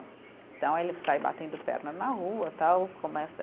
Então, ele sai batendo perna na rua, tal. Começa